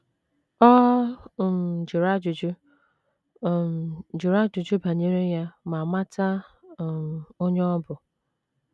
Ọ um jụrụ ajụjụ um jụrụ ajụjụ banyere ya ma mata um onye ọ bụ.